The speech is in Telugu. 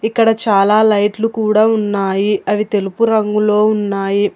ఇక్కడ చాలా లైట్లు కూడా ఉన్నాయి అవి తెలుపు రంగులో ఉన్నాయి.